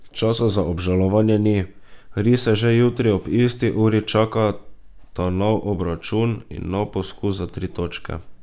Časa za obžalovanje ni, rise že jutri ob isti uri čakata nov obračun in nov poskus za tri točke.